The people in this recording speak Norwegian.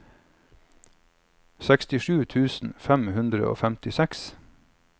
sekstisju tusen fem hundre og femtiseks